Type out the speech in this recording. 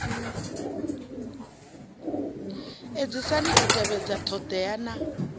edzisani u tevhedza thodea na